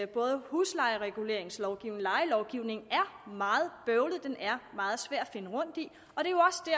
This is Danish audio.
både huslejereguleringslovgivning og lejelovgivning er meget bøvlet den er meget svær